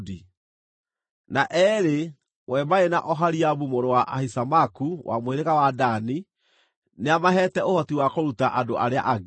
Na eerĩ, we marĩ na Oholiabu mũrũ wa Ahisamaku wa mũhĩrĩga wa Dani, nĩamaheete ũhoti wa kũruta andũ arĩa angĩ.